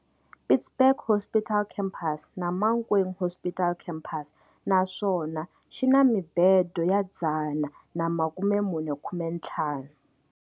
Pietersburg Hospital Campus na Mankweng Hospital Campus naswona xina mibede ya 450.